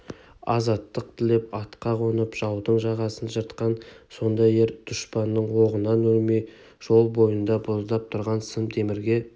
азаттық тілеп атқа қонып жаудың жағасын жыртқан сондай ер дұшпанның оғынан өлмей жол бойында боздап тұрған сым темірге